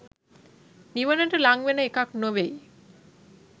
නිවනට ළං වෙන එකක් නෙවෙයි